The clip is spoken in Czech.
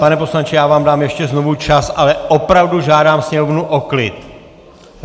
Pane poslanče, já vám dám ještě znovu čas, ale opravdu žádám sněmovnu o klid!